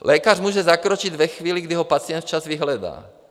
Lékař může zakročit ve chvíli, kdy ho pacient včas vyhledá.